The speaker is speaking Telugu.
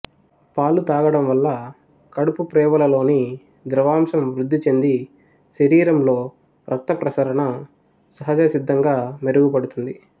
పాలు తాగటంవల్ల కడుపు ప్రేవులలోని ద్రవాంశం వృద్ధిచెంది శరీరంలో రక్తప్రసరణ సహజసిద్ధంగా మెరుగుపడుతుంది